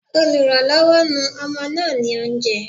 Olùrànlọ́wọ́, nu ọmọ náà ní oúnjẹ.